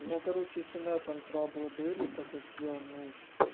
у меня короче с инетом траблы были так как я ну